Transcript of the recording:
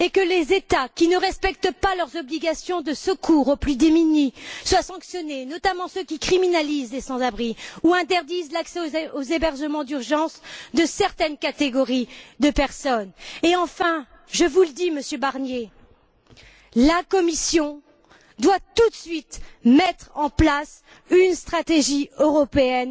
Les États qui ne respectent pas leurs obligations de secours aux plus démunis doivent être sanctionnés, notamment ceux qui criminalisent les sans abris ou interdisent l'accès aux hébergements d'urgence à certaines catégories de personnes. Et enfin, Monsieur Barnier, la Commission doit tout de suite mettre en place une stratégie européenne